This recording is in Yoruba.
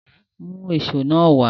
Mú èṣó wá!